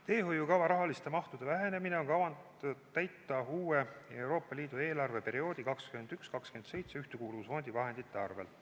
Teehoiukava rahaliste mahtude vähenemine on kavas täita Euroopa Liidu uue eelarveperioodi 2021–2027 Ühtekuuluvusfondi vahendite arvel.